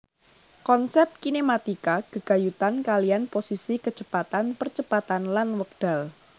Konsep kinematika gegayutan kaliyan posisi kecepatan percepatan lan wekdal